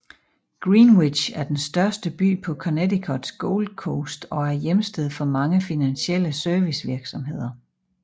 Greenwich er den største by på Connecticuts Gold Coast og er hjemsted for mange finansielle servicevirksomheder